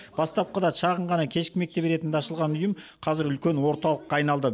бастапқыда шағын ғана кешкі мектеп ретінде ашылған ұйым қазір үлкен орталыққа айналды